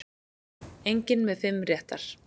Enginn með fimm réttar